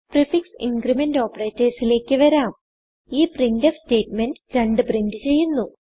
prefix increment operatorsലേക്ക് വരാം ഈ printfസ്റ്റേറ്റ്മെന്റ് 2 പ്രിന്റ് ചെയ്യുന്നു